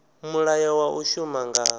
mulayo wa u shuma nga